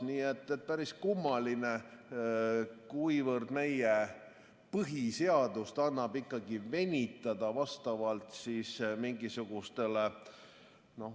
Nii et päris kummaline, kuivõrd meie põhiseadust annab ikkagi venitada vastavalt mingisugustele ...